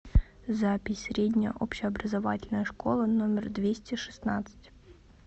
запись средняя общеобразовательная школа номер двести шестнадцать